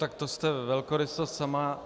Tak to jste velkorysost sama.